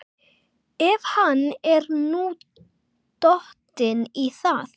Ef hann er nú dottinn í það?